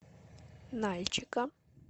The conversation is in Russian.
нальчика